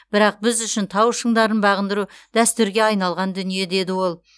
бірақ біз үшін тау шыңдарын бағындыру дәстүрге айналған дүние деді ол